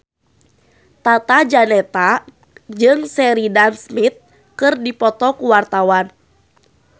Tata Janeta jeung Sheridan Smith keur dipoto ku wartawan